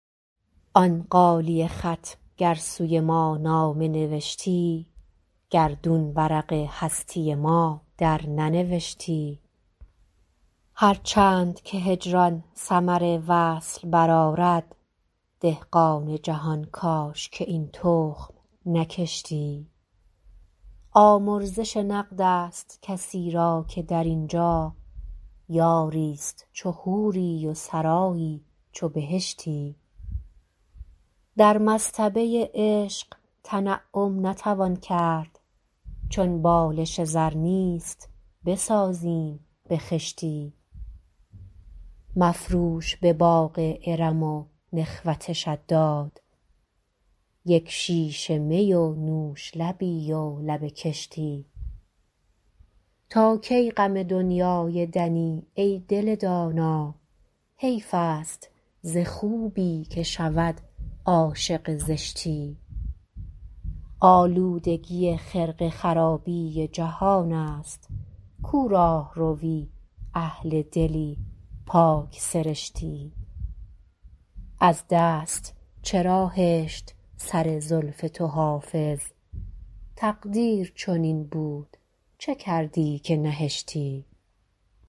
آن غالیه خط گر سوی ما نامه نوشتی گردون ورق هستی ما درننوشتی هر چند که هجران ثمر وصل برآرد دهقان جهان کاش که این تخم نکشتی آمرزش نقد است کسی را که در این جا یاری ست چو حوری و سرایی چو بهشتی در مصطبه عشق تنعم نتوان کرد چون بالش زر نیست بسازیم به خشتی مفروش به باغ ارم و نخوت شداد یک شیشه می و نوش لبی و لب کشتی تا کی غم دنیای دنی ای دل دانا حیف است ز خوبی که شود عاشق زشتی آلودگی خرقه خرابی جهان است کو راهروی اهل دلی پاک سرشتی از دست چرا هشت سر زلف تو حافظ تقدیر چنین بود چه کردی که نهشتی